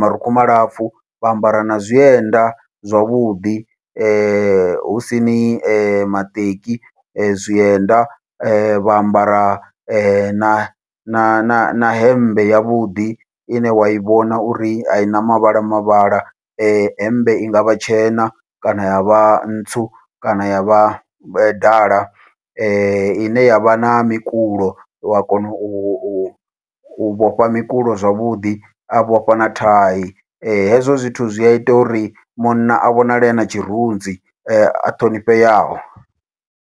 marukhu malapfhu, vha ambara na zwienda zwavhuḓi husini maṱeki zwienda vha ambara na na na hemmbe yavhuḓi ine wa i vhona uri aina mavhala mavhala, hemmbe i ngavha tshena kana yavha ntsu kana yavha dala ine yavha na mikulo wa kona u vhofha mikulo zwavhuḓi a vhofha na thai. Hezwo zwithu zwi aita uri munna a vhonale na tshirunzi a ṱhonifheaho.